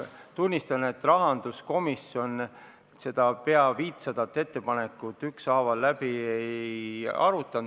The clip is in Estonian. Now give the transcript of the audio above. Tunnistan, et rahanduskomisjon neid peaaegu 500 ettepanekut ükshaaval läbi ei arutanud.